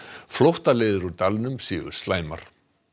flóttaleiðir úr dalnum séu slæmar